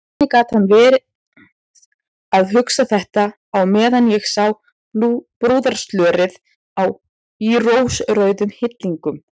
Hvernig gat hann verið að hugsa þetta á meðan ég sá brúðarslörið í rósrauðum hillingum!